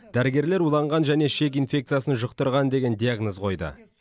дәрігерлер уланған және ішек инфекциясын жұқтырған деген диагноз қойды